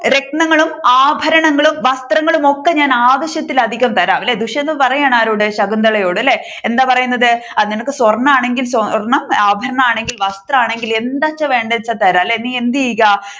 രത്‌നങ്ങളും ആഭരണങ്ങളും വസ്ത്രങ്ങളും ഒക്കെ ഞാൻ ആവശ്യത്തിലധികം തരാം ദുഷ്യന്തൻ പറയുകയാണ് ആരോട് ശകുന്തളയോട് അല്ലെ എന്താ പറയുന്നത് നിനക്ക് സ്വർണം ആണെങ്കിൽ സ്വർണം ആഭരണമാണെകിൽ ആഭരണം വസ്ത്രമാണെങ്കിൽ എന്താണ് വേണ്ടത് എന്ന് വെച്ച തരാം അല്ലെ നീ എന്ത് ചെയ്യുക